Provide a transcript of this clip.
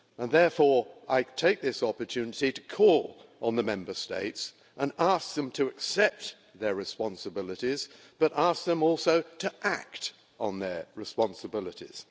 Therefore I take this opportunity to call on the Member States and ask them to accept their responsibilities but I also ask them to act on their responsibilities.